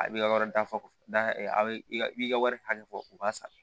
A b'i ka yɔrɔ dafa da a bɛ i ka i b'i ka wari hakɛ fɔ u b'a sara